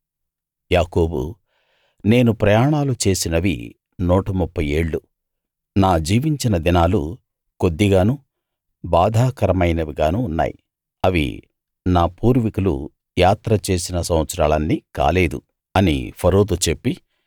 యాకోబు నేను ప్రయాణాలు చేసినవి 130 ఏళ్ళు నా జీవించిన దినాలు కొద్డిగానూ బాధాకరమైనవిగానూ ఉన్నాయి అవి నా పూర్వీకులు యాత్ర చేసిన సంవత్సరాలన్ని కాలేదు అని ఫరోతో చెప్పి